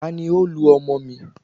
tani o lu ọmọ mi?